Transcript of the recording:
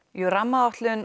jú rammaáætlun